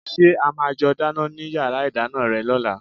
Ṣé a máa jọ dáná ní yàrá ìdáná rẹ lọ́la?